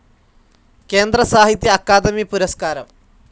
കേന്ദ്ര സാഹിത്യ അക്കാദമി പുരസ്കാരം